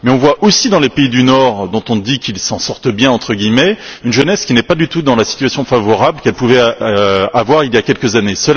Mais nous voyons aussi dans les pays du Nord dont on dit qu'ils s'en sortent bien entre guillemets une jeunesse qui n'est pas du tout dans la situation favorable qu'elle pouvait avoir il y a quelques années.